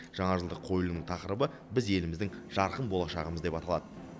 жаңажылдық қойылымның тақырыбы біз еліміздің жарқын болашағымыз деп аталады